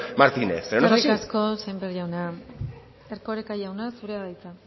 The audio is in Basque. martínez pero eskerrik asko sémper jauna erkoreka jauna zurea da hitza